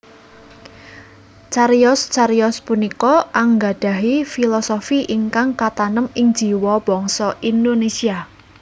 Cariyos cariyos punika anggadhahi filosofi ingkang katanem ing jiwa bangsa Indonésia